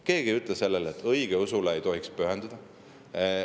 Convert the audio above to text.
Keegi ei ütle, et õigeusule ei tohiks pühenduda.